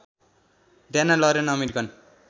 Diana Lauren American